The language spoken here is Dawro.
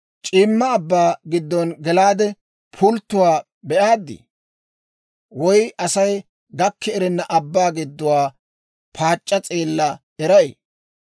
«C'iimma abbaa giddo gelaade, pulttuwaa be'aaddi? Woy Asay gakki erenna abbaa gidduwaa paac'c'a s'eella eray?